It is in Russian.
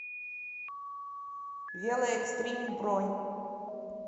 велоэкстрим бронь